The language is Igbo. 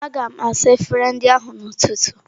Aga m asa efere ndị ahụ n'ụtụtụ.